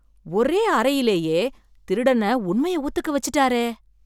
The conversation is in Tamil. ஒரே அறையிலயே திருடனை உண்மைய ஒத்துக்க வெச்சுட்டாரே.